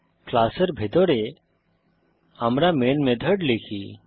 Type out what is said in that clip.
ক্লাসের ভিতরে আমরা মেইন মেথড লিখি